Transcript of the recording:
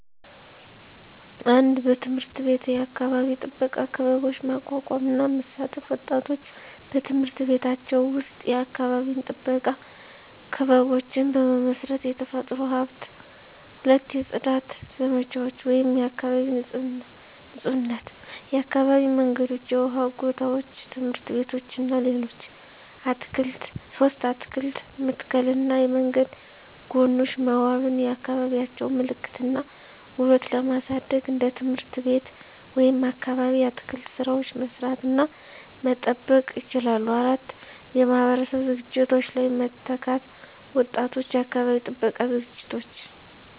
1. በትምህርት ቤት የአካባቢ ጥበቃ ክበቦች ማቋቋም እና መሳተፍ ወጣቶች በትምህርት ቤቶቻቸው ውስጥ የአካባቢ ጥበቃ ክበቦችን በመመስረት፣ የተፈጥሮ ሀብትን። 2. የጽዳት ዘመቻዎች (የአካባቢ ንፁህነት) የአካባቢ መንገዶች፣ የውሃ ጎታዎች፣ ትምህርት ቤቶች እና ሌሎች 3. አትክልት መተከልና የመንገድ ጎኖች መዋበን የአካባቢዎቻቸውን ምልክት እና ውበት ለማሳደግ እንደ ትምህርት ቤት ወይም አካባቢ የአትክልት ሥራዎችን መስራት እና መጠበቅ ይችላሉ። 4. የማህበረሰብ ዝግጅቶች ላይ መተካት ወጣቶች የአካባቢ ጥበቃ ዝግጅቶች